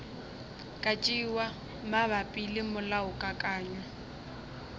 ka tšewa mabapi le molaokakanywa